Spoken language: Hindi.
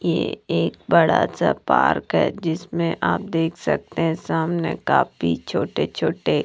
ये एक बड़ा सा पार्क है जिसमें आप देख सकते हैं सामने काफी छोटे-छोटे--